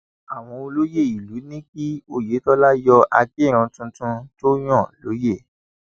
àwọn olóyè ìlú ní kí oyetola rọ akirun tuntun tó yàn lóye